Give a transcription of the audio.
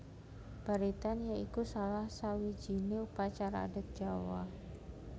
Baritan ya iku salah sawijiné upacara adat Jawa